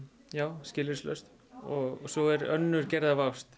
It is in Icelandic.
skilyrðislaus og svo er önnur gerð af ást